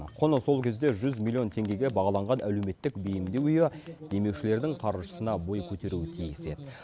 құны сол кезде жүз миллион теңгеге бағаланған әлеуметтік бейімдеу үйі демеушілердің қаржысына бой көтеруі тиіс еді